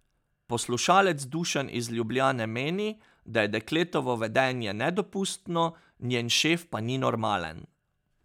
Poslušalec Dušan iz Ljubljane meni, da je dekletovo vedenje nedopustno, njen šef pa ni normalen.